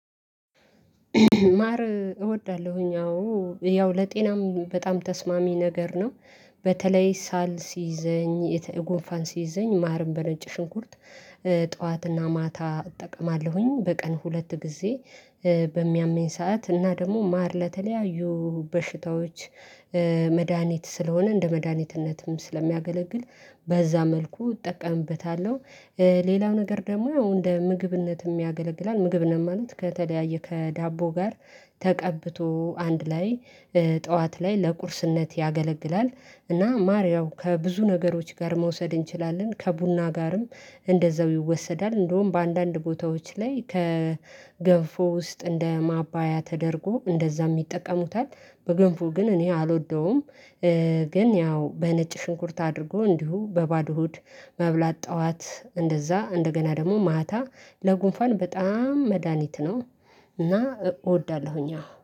ማር እወዳለሁኝ አዎ ያው ለጤናም በጣም ተስማሚ ነገር ነው። በተለይ ሳል ሲይዘኝ የተ ጉንፋን ሲይዘኝ ማርን በነጭ ሽንኩርት። ጠዋትና ማታ እጠቀማለሁኝ በቀን ሁለት ግዜ። በሚያመኝ ሰዓት እና ደሞ ማር ለተለያዩ በሽታዎች። መድሃኒት ስለሆነ እንደ መድሃኒትነትም ስለሚያገለግል በዛ መልኩ እጠቀምበታለሁ። ሌላው ነገር ደሞ ያው እንደ ምግብነትም ያገለግላል ምግብነት ማለት ከተለያየ ከዳቦ ጋር ተቀብቶ አንድ ላይ ጠዋት ላይ ለቁርስነት ያገለግላል። እና ማር ያው ከብዙ ነገሮች ጋር መውሰድ እንችላለን ከቡና ጋርም እንደዛው ይወሰዳል እንዳውም በአንዳንድ ቦታዎች ላይ ከገንፎ ውስጥ እንደ ማባያ ተደርጎ እንደዛም ይጠቀሙታል። በገንፎ ግን እኔ አልወደውም። ግን ያው በነጭ ሽንኩርት አድርጎ እንዲሁ በባዶ ሆድ መብላት ጠዋት እንደዛ እንደገና ደሞ ማታ ለጉንፋን በጣም መድሃኒት ነው። እና እወዳለሁኝ